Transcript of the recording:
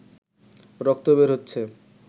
রক্ত বের হচ্ছে